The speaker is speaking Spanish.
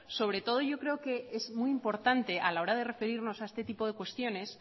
sobre todo yo creo que es muy importante a la hora de referirnos a este tipo de cuestiones